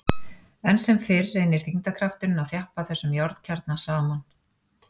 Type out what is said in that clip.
Enn sem fyrr reynir þyngdarkrafturinn að þjappa þessum járnkjarna saman.